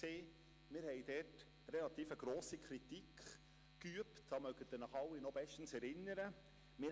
Wir übten dort eine relativ grosse Kritik, wie Sie sich alle bestens erinnern können.